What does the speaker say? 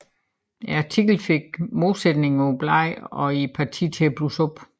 Artiklen fik modsætningerne på bladet og i partiet til at blusse op